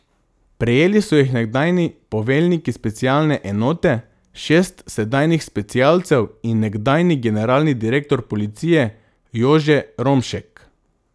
Prejeli so jih nekdanji poveljniki specialne enote, šest sedanjih specialcev in nekdanji generalni direktor policije Jože Romšek.